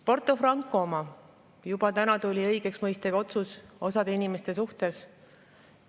Porto Franco asjas tuli täna õigeksmõistev otsus osa inimeste suhtes.